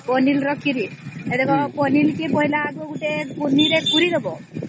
ପନିର ର ଖୀରିପନିର କୁ ଛୋଟ ଛୋଟ କରି କାଟିଦେବାର ଛକଡ଼ି ଦେବାର